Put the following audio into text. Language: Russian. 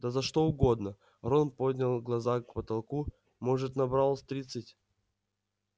да за что угодно рон поднял глаза к потолку может набрал тридцать